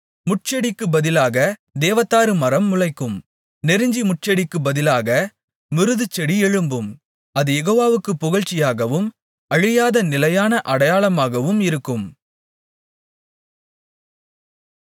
முட்செடிக்குப் பதிலாகத் தேவதாரு மரம் முளைக்கும் நெருஞ்சி முட்செடிக்குப் பதிலாக மிருதுச்செடி எழும்பும் அது யெகோவாவுக்குப் புகழ்ச்சியாகவும் அழியாத நிலையான அடையாளமாகவும் இருக்கும்